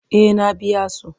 Eh na biya su.